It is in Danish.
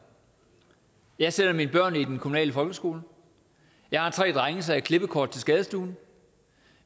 jeg sender mine børn i den kommunale folkeskole jeg har tre drenge så jeg har klippekort til skadestuen